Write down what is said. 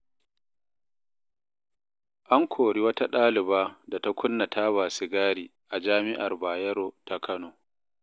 An kori wata ɗaliba da ta kunna taba sigari a jami'ar Bayero ta Kano.